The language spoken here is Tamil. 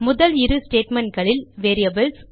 முதல் இரு statementகளில் வேரியபிள்ஸ்